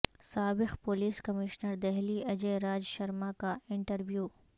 سابق police commissioner Delhi Ajay Raj Sharma کا interview